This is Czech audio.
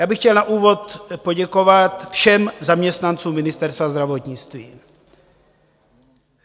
Já bych chtěl na úvod poděkovat všem zaměstnancům Ministerstva zdravotnictví.